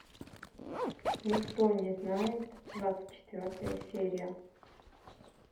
никто не знает двадцать четвертая серия